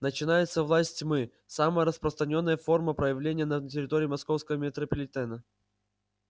начинается власть тьмы самая распространённая форма проявления на территории московского метрополитена